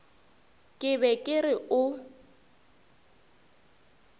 ke be ke re o